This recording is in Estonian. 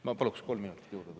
Ma palun kolm minutit juurde.